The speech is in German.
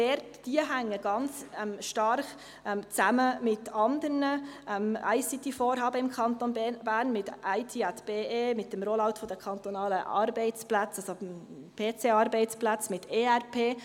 Diese hängen ganz stark mit anderen ICT-Vorhaben im Kanton Bern zusammen: mit IT@BE, mit dem Rollout der kantonalen PC-Arbeitsplätze, mit Enterprise Resource Planning (ERP).